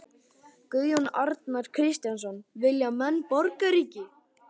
Guðjón Arnar Kristjánsson: Vilja menn borgríki?